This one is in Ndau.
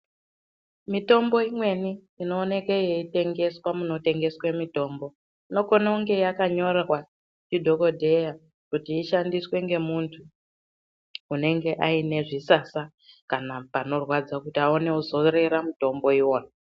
Mitombo imweni inooneke yeitengeswa munotengeswa mitombo inokone kunge yakanyorwa ndidhokodheya kuti ishandiswe ngemuntu unenge ane zvisasa kana panorwadza kuti aone kuzorera mutombo iwona.